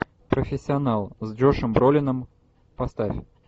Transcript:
профессионал с джошем бролином поставь